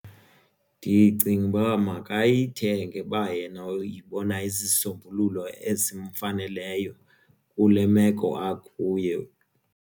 Ndicinga uba makayithenge uba yena uyibona isisombululo esimfaneleyo kule meko akuyo.